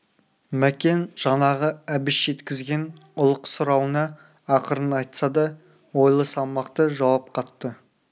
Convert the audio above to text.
мәкен жаңағы әбіш жеткізген ұлық сұрауына ақырын айтса да ойлы салмақты жауап қатты